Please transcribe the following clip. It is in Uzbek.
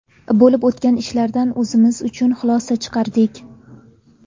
Bo‘lib o‘tgan ishlardan o‘zimiz uchun xulosa chiqardik.